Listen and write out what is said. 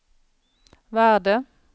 värde